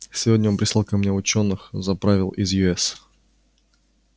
сегодня он прислал ко мне учёных заправил из ю с